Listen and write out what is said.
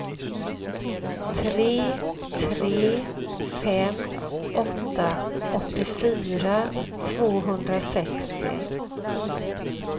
tre tre fem åtta åttiofyra tvåhundrasextio